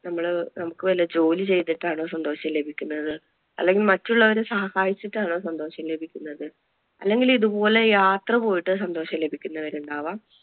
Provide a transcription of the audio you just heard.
നമ്മള് നമുക്ക് വെല്ല ജോലി ചെയ്തിട്ടാണോ സന്തോഷം ലഭിക്കുന്നത്, അല്ലെങ്കിൽ മറ്റുള്ളവരെ സഹായിച്ചിട്ടാണോ സന്തോഷം ലഭിക്കുന്നത് അല്ലെങ്കിൽ ഇതുപോലെ യാത്ര പോയിട്ട് സന്തോഷം ലഭിക്കുന്നവർ ഉണ്ടാകാം.